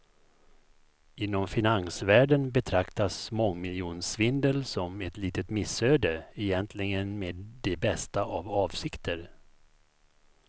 Inom finansvärlden betraktas mångmiljonsvindel som ett litet missöde, egentligen med de bästa av avsikter.